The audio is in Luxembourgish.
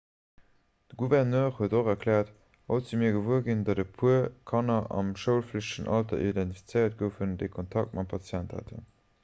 de gouverneur huet och erkläert haut si mir gewuer ginn datt e puer kanner am schoulflichtegen alter identifizéiert goufen déi kontakt mam patient haten